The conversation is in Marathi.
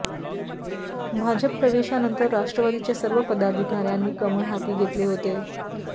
भाजप प्रवेशानंतर राष्ट्रवादीच्या सर्व पदाधिकार्यांनी कमळ हाती घेतले होते